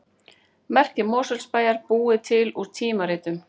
Merki Mosfellsbæjar búið til úr tímaritum